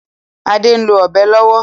Ade n lo Ọ̀bẹ lówó.